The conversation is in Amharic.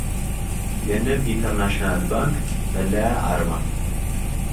የንብ ኢንተርናሽናል ባንክ መለያ አርማ